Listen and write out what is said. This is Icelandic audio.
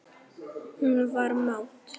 Hann var mát.